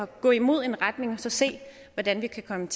gå imod en retning og så se hvordan vi kan komme